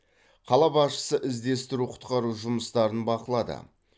қала басшысы іздестіру құтқару жұмыстарын бақылады